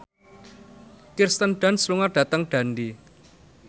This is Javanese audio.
Kirsten Dunst lunga dhateng Dundee